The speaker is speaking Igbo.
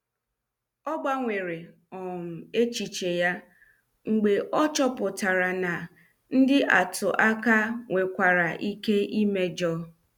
Ọ gbanwere um echiche ya mgbe ọ chọpụtara na ndị atụ aka nwekwara ike imejo.